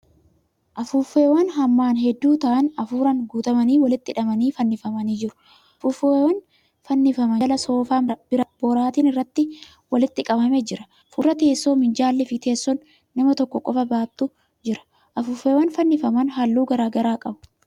Afuuffeewwan hammaan hedduu ta'an afuuraan guutamanii walitti hidhamanii fannifamanii jiru. Afuuffeewwan fannifaman jala soofaan boraatiin irratti walitti qabame jira. Fuuldura teessoo minjaalli fi teessoon nama tokko qofa baattu jira. Afuuffeewwan fannifaman halluu garagaraa qabu.